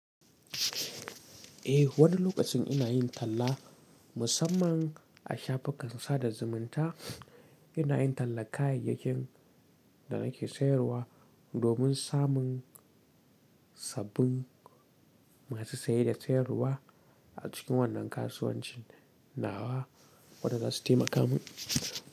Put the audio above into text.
Eh, wani lokacin ina yin talla musamman a shafukan sada zumunta. Ina yin talla kayayyakin da nake sayarwa domin samun sabbin masu saye da sayarwa a cikin wannan kasuwancin nawa wanda zasu taimaka min.